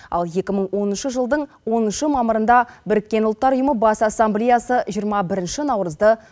ал екі мың оныншы жылдың оныншы мамырында біріккен ұлттар ұйымы бас ассамблеясы жиырма бірінші наурызды